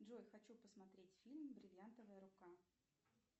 джой хочу посмотреть фильм бриллиантовая рука